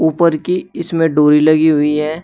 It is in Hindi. ऊपर की इसमें डोरी लगी हुई है।